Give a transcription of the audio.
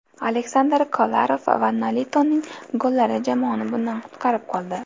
Aleksandar Kolarov va Nolitoning gollari jamoani bundan qutqarib qoldi.